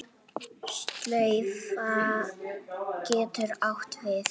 Slaufa getur átt við